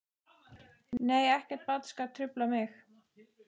Nei ekkert barn skal trufla mig.